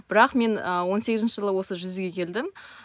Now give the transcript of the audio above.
бірақ мен ы он сегізінші жылы осы жүзуге келдім